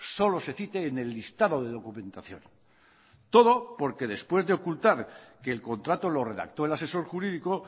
solo se cite en el listado de documentación todo porque después de ocultar que el contrato lo redactó el asesor jurídico